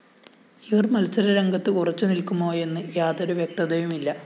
ഇവര്‍ മത്സരരംഗത്ത് ഉറച്ചു നില്‍ക്കുമോയെന്ന് യാതൊരു വ്യക്തതയുമില്ല